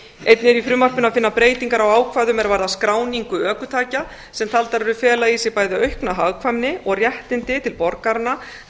einnig er í frumvarpinu að finna breytingar á ákvæðum er varðar skráningu ökutækja sem taldar eru fela í sér bæði aukna hagkvæmni og réttindi til borgaranna þar